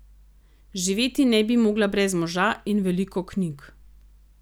Živeti ne bi mogla brez moža in veliko knjig.